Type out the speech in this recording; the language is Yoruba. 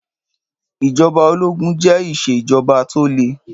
Ìjọba òlógún jẹ ìṣe ìjọbà tọ lè.